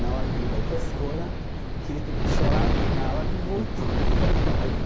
na hora que ele vai para a escola, que ele tem que chorar na hora de voltar para casa.